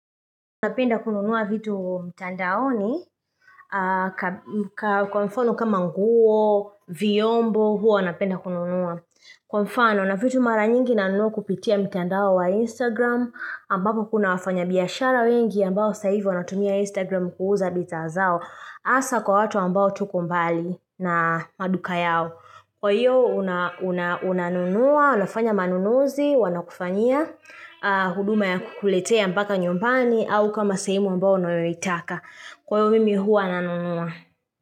Napenda kununua vitu mtandaoni, kwa mfano kama nguo, vyombo, huwa napenda kununua. Kwa mfano, na vitu mara nyingi nanunua kupitia mtandao wa Instagram, ambako kuna wafanya biashara wengi ambao sasa hivi wanatumia Instagram kuuza bidhaa zao, hasa kwa watu ambao tuko mbali na maduka yao. Kwa hiyo, unanunua, unafanya manunuzi, wanakufanyia, huduma ya kukuletea mpaka nyumbani au kama sehemu ambayo unayoitaka. Kwa hivyo mimi huwa nanunua.